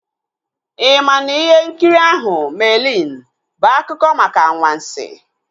I maa na ihe nkiri ahụ "Merlin" bụ akụkọ maka anwansi?